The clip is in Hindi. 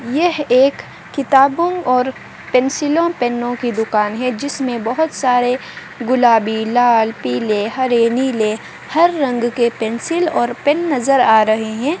यह एक किताबों और पेन्सिलों पेनों की दुकान है जिसमें बहुत सारे गुलाबीलाल पीले हरे नीले हर रंग के पेंसिल और पेन नज़र आ रहे हैं।